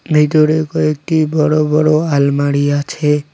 ভিতরে কয়েকটি বড় বড় আলমারি আছে।